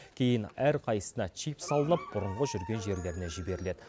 кейін әрқайсысына чип салынып бұрынғы жүрген жерлеріне жіберіледі